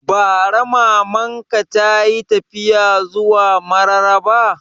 Bara Maman ka tayi tafiya zuwa Mararaba